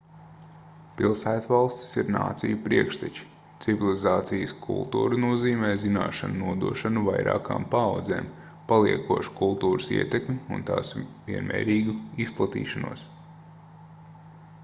pilsētvalstis ir nāciju priekšteči civilizācijas kultūra nozīmē zināšanu nodošanu vairākām paaudzēm paliekošu kultūras ietekmi un tās vienmērīgu izplatīšanos